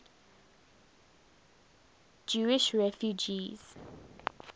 jewish refugees